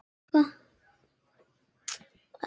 Ég skil ekki alveg